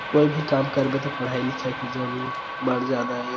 कोई भी काम करबे त पड़ाई-लिखाई की जरुरत बड़ जादा ए।